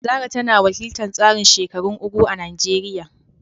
Zarah tana wakiltar tsarin shekarun “Ugwu” a Najeriya